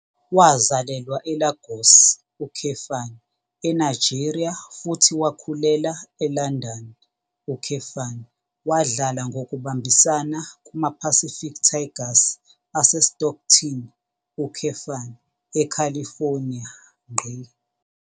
Wazalelwa eLagos, eNigeria futhi wakhulela eLondon, wadlala ngokubambisana kumaPacific Tigers aseStockton, eCalifornia.